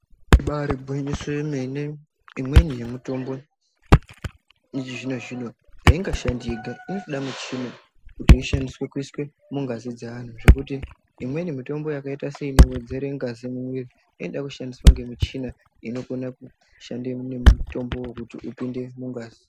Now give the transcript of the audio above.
Ibarigwinyiso yemene imweni yemitombo yechizvino zvino haingashandi yega isina michina kuti ishandiswe kuiswe mungazi dzeantu zvekuti imweni mitombo yakaita seinowedzera ngazi mumwiri inoda kushandiswa nemichina inokone kushanda nemutombowo kuti upendede mungazi .